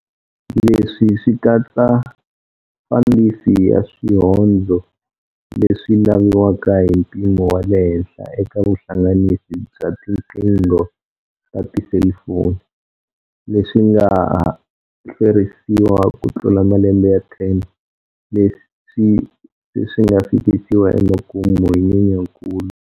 Leswi swi katsa fandisi ya swihondzo leswi laviwaka hi mpimo wa le henhla eka vuhlanganisi bya tiqingho ta tiselifoni, leswi nga hlwerisiwa kutlula malembe ya 10 leswi se swi nga fikisiwa emakumu hi Nyenyankulu.